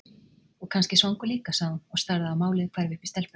Og kannski svangur líka, sagði hún og starði á málið hverfa upp í stelpuna.